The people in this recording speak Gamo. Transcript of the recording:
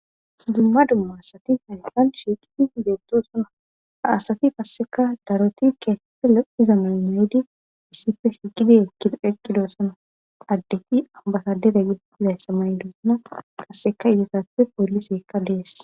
Dumma dumma asati hayssan shiiqidi beettosona. Asati qasseka daroti keeththappe lo'iza mayo mayidi issippe shiqidi ekki eqqidosona .Addeti abbasadere giza issa mayidosona qasseka etappe pooliseekka dees.